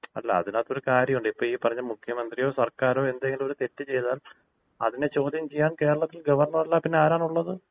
അല്ല, അതിനകത്ത് ഒരു കാര്യമുണ്ട്. ഇപ്പൊ ഈപ്പറഞ്ഞ മുഖ്യമന്ത്രിയോ സർക്കാരോ എന്തെങ്കിലും ഒരു തെറ്റ് ചെയ്താൽ അതിനെ ചോദ്യം ചെയ്യാൻ കേരളത്തിൽ ഗവർണർ അല്ലാതെ പിന്നെ ആരാണുള്ളത്?